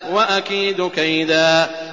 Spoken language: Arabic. وَأَكِيدُ كَيْدًا